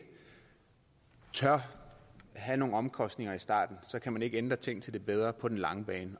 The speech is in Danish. tør have nogle omkostninger i starten kan man ikke ændre ting til det bedre på den lange bane